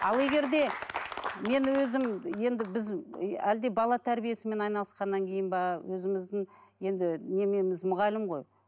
ал егер де мен өзім енді біз әлде бала тәрбиесімен айналысқаннан кейін бе өзіміздің енді мұғалім ғой